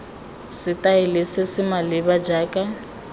setaele se se maleba jaaka